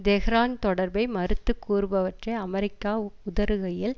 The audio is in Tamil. தெஹ்ரான் தொடர்பை மறுத்து கூறுபவற்றை அமெரிக்கா உதறுகையில்